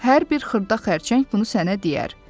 Hər bir xırda xərçəng bunu sənə deyər.